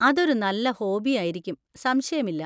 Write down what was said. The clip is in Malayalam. അതൊരു നല്ല ഹോബി ആയിരിക്കും, സംശയമില്ല.